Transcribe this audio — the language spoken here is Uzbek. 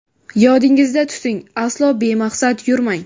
Yodingizda tuting – aslo bemaqsad yurmang.